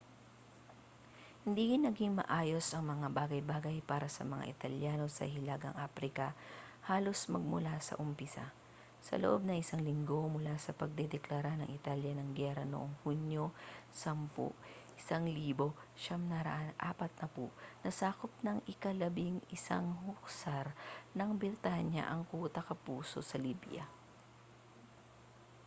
hindi naging maayos ang mga bagay-bagay para sa mga italyano sa hilagang aprika halos magmula sa umpisa sa loob ng isang linggo mula ang pagdedeklara ng italya ng giyera noong hunyo 10 1940 nasakop ng ika-11 hussars ng britanya ang kuta capuzzo sa libya